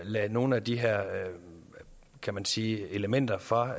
lade nogle af de her kan man sige elementer fra